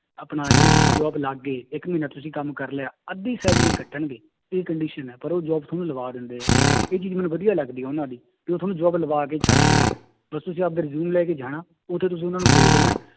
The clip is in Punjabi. ਆਪਣਾ ਜਦੋਂ ਤੁਸੀਂ job ਲੱਗ ਗਏ ਇੱਕ ਮਹੀਨਾ ਤੁਸੀਂ ਕੰਮ ਕਰ ਲਿਆ ਅੱਧੀ salary ਕੱਟਣਗੇ, ਇਹ condition ਹੈ ਪਰ ਉਹ job ਤੁਹਾਨੂੰ ਲਵਾ ਦਿੰਦੇ ਹੈ, ਇਹ ਚੀਜ਼ ਮੈਨੂੰ ਵਧੀਆ ਲੱਗਦੀ ਹੈ ਉਹਨਾਂ ਦੀ ਤੇ ਉਹ ਤੁਹਾਨੂੰ job ਲਵਾ ਕੇ ਛੱਡਦੇ ਹੈ, ਬਸ ਤੁਸੀਂ ਆਪਦੇ resume ਲੈ ਕੇ ਜਾਣਾ ਉੱਥੇ ਤੁਸੀਂ ਉਹਨਾਂ ਨੂੰ ਦੇ ਦੇਣਾ